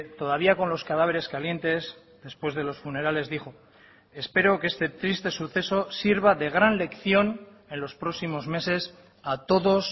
todavía con los cadáveres calientes después de los funerales dijo espero que este triste suceso sirva de gran lección en los próximos meses a todos